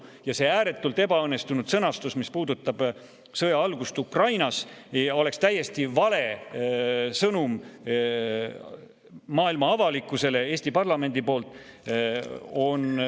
Ning see ääretult ebaõnnestunud sõnastus, mis puudutab sõja algust Ukrainas, oleks täiesti vale sõnum maailma avalikkusele Eesti parlamendi poolt.